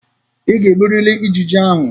Ị ga-egburiri ijiji ahụ.